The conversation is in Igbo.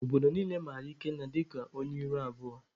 Obodo niile mara Ikenna dịka onye ihu abụọ.